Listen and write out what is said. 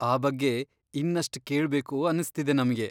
ಆ ಬಗ್ಗೆ ಇನ್ನಷ್ಟ್ ಕೇಳ್ಬೇಕು ಅನ್ಸ್ತಿದೆ ನಮ್ಗೆ.